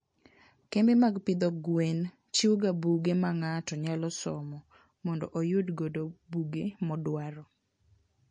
kembe mag pidho gwen chiwoga buge ma ng'ato nyalo somo mondo oyudgo buge modwaro.